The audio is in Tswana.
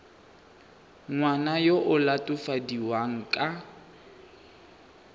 ngwana yo o latofadiwang ka